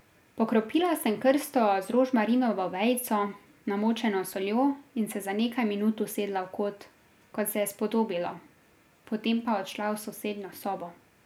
Pokropila sem krsto z rožmarinovo vejico, namočeno s soljo, in se za nekaj minut usedla v kot, kot se je spodobilo, potem pa odšla v sosednjo sobo.